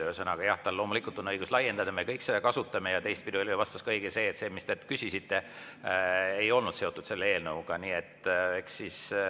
Ühesõnaga, jah, tal loomulikult on õigus laiendada, me kõik seda, ja teistpidi oli õige, et see, mida te küsisite, ei olnud seotud selle eelnõuga.